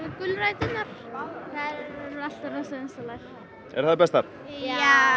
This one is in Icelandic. gulræturnar þær eru alltaf vinsælastar eru þær bestar já